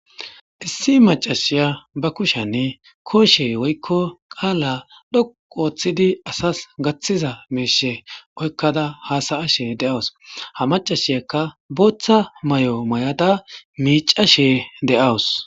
Issi macasiya bakoshe koshe woyko qala dhoqu othiza asas gathiza misha oyqada hasayashe dawus ha macasiyakka botha mayo mayada micashe da'wus